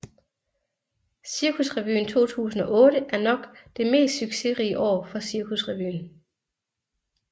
Cirkusrevyen 2008 er nok det mest succesrige år for Cirkusrevyen